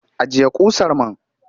Ajiye ƙusar man!